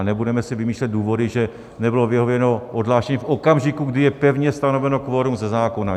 A nebudeme si vymýšlet důvody, že nebylo vyhověno odhlášení v okamžiku, kdy je pevně stanoveno kvorum ze zákona.